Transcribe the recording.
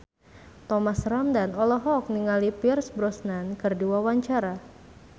Thomas Ramdhan olohok ningali Pierce Brosnan keur diwawancara